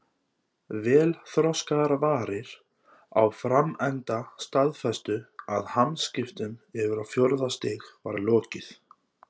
Vel þroskaðar varir á framenda staðfestu að hamskiptum yfir á fjórða stig var lokið.